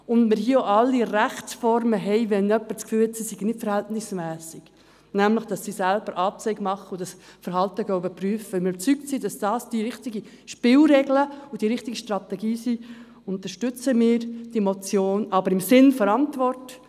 Falls wir in diesem Sinne weiterhin eine klare Haltung zur Verhältnismässigkeit haben wollen, sodass wir überzeugt sind, dass die Polizei im Kanton Bern verhältnismässig handelt, weil wir davon überzeugt sind, dass das die richtigen Spielregeln und die richtigen Strategien sind, unterstützen wir diese Motion, allerdings im Sinne der Antwort.